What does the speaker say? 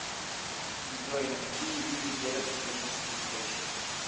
джой на какие виды делят исторические источники